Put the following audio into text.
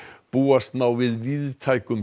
búast má við víðtækum